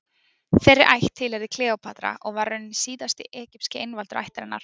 Þeirri ætt tilheyrði Kleópatra og var raunar síðasti egypski einvaldur ættarinnar.